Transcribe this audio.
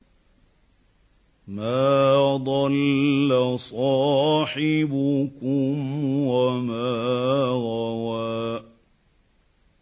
مَا ضَلَّ صَاحِبُكُمْ وَمَا غَوَىٰ